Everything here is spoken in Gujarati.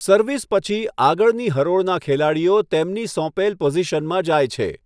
સર્વિસ પછી, આગળની હરોળના ખેલાડીઓ તેમની સોંપેલ પોઝિશનમાં જાય છે.